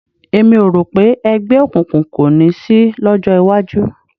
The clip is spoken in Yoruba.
Èmi ò rò pé ẹgbẹ́ òkùnkùn kò ní sí lọ́jọ́ iwájú